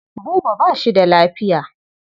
Buba ba shi da lafiya.